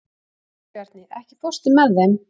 Sigurbjarni, ekki fórstu með þeim?